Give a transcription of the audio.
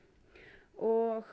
og